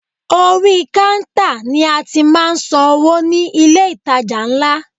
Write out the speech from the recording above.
Orí kántà ni a ti máà ń san owó ní ilé ìtajà ńlá.